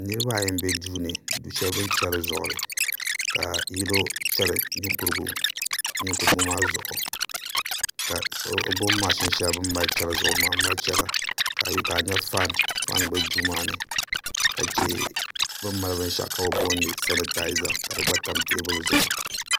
Niraba ayi n bɛ du shɛli ni bi ni chɛri zuɣuri ka yino chɛri ninkurigu maa zuɣu ka o gbubi mashin shɛli bi ni mali chɛri zuɣu maa n mali chɛra ka faan bɛ Duu maa ni ka chɛ bi ni mali binshaɣu ka bi boonili sanitaiza ka di gba tam teebuli zuɣu